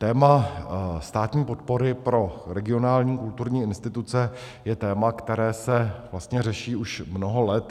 Téma státní podpory pro regionální kulturní instituce je téma, které se vlastně řeší už mnoho let.